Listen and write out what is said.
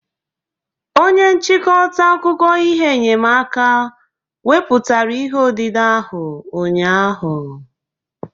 Onye nchịkọta akụkọ ihe enyemaka weputara ihe odide ahụ ụnyahụ